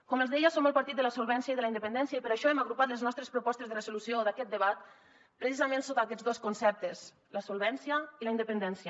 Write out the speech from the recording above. com els deia som el partit de la solvència i de la independència i per això hem agrupat les nostres propostes de resolució d’aquest debat precisament sota aquests dos conceptes la solvència i la independència